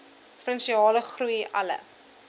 provinsiale groei alle